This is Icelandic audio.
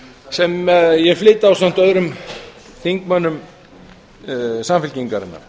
sem ég flyt ásamt öðru þingmönnum samfylkingarinnar